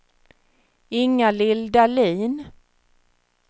Ingalill Dahlin